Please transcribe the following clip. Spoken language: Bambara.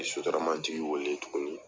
N ye sotaramatigi wele tuguni,